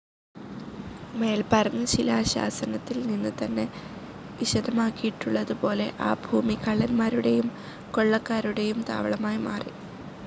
മേൽപ്പറഞ്ഞ ശിലാശാസനത്തിൽ നിന്ന് തന്നെ വിശദമാക്കിയിട്ടുള്ളത് പോലെ ആ ഭൂമി കള്ളൻമാരുടെയും കൊള്ളക്കാരുടെയും താവളമായി മാറി.